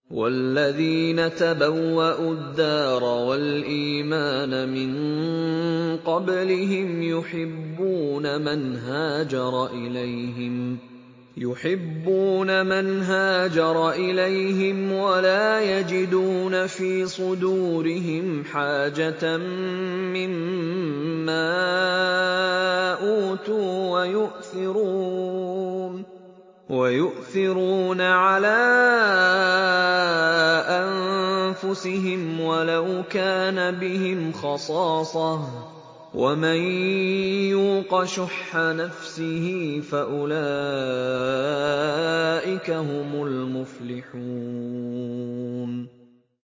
وَالَّذِينَ تَبَوَّءُوا الدَّارَ وَالْإِيمَانَ مِن قَبْلِهِمْ يُحِبُّونَ مَنْ هَاجَرَ إِلَيْهِمْ وَلَا يَجِدُونَ فِي صُدُورِهِمْ حَاجَةً مِّمَّا أُوتُوا وَيُؤْثِرُونَ عَلَىٰ أَنفُسِهِمْ وَلَوْ كَانَ بِهِمْ خَصَاصَةٌ ۚ وَمَن يُوقَ شُحَّ نَفْسِهِ فَأُولَٰئِكَ هُمُ الْمُفْلِحُونَ